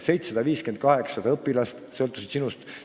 750–800 õpilast sõltus sinust.